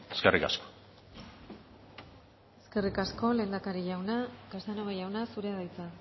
eskerrik asko eskerrik asko lehendakari jauna casanova jauna zurea da hitza